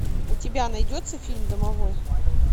у тебя найдется фильм домовой